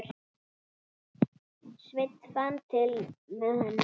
Sveinn fann til með henni.